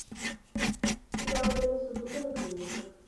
сериал денниса дугана клиника